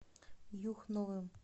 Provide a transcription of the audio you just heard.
юхновым